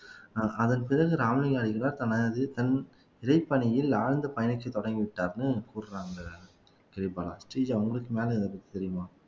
அதன் பிறகு ராமலிங்கம் அடிகளார் தனது தன் இறைப்பணியில் ஆழ்ந்து பயணத்தை தொடங்கிவிட்டார்ன்னு சொல்றாங்க கிரிபாலா ஸ்ரீஜா உங்களுக்கு மேலே எதாது தெரியுமா